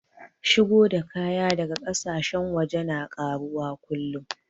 Shigo da kaya daga ƙasashen waje na ƙaruwa kullum